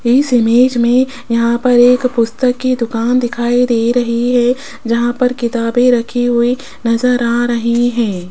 इस इमेज में यहां पर एक पुस्तक की दुकान दिखाई दे रही है जहां पर किताबें रखी हुई नजर आ रही हैं।